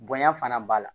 Bonya fana b'a la